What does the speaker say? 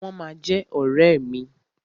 Wọ́n ma jẹ́ ọ̀rẹ́ mi.